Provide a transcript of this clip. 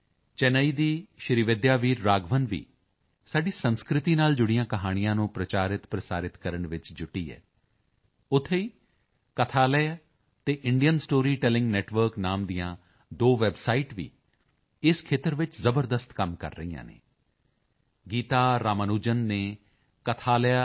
ਚੇਨੱਈ ਦੀ ਸ਼੍ਰੀਵਿੱਦਿਆ ਵੀਰ ਰਾਘਵਨ ਵੀ ਸਾਡੀ ਸੰਸਿਤੀ ਨਾਲ ਜੁੜੀਆਂ ਕਹਾਣੀਆਂ ਨੂੰ ਪ੍ਰਚਾਰਿਤ ਪ੍ਰਸਾਰਿਤ ਕਰਨ ਵਿੱਚ ਜੁਟੀ ਹੈ ਉੱਥੇ ਹੀ ਕਥਾਲਯਾ ਅਤੇ the Indian story telling network ਨਾਮ ਦੀਆਂ ਦੋ ਵੈੱਬਸਾਈਟ ਵੀ ਇਸ ਖੇਤਰ ਵਿੱਚ ਜ਼ਬਰਦਸਤ ਕੰਮ ਕਰ ਰਹੀਆਂ ਹਨ ਗੀਤਾ ਰਾਮਾਨੁਜਨ ਨੇ kathalaya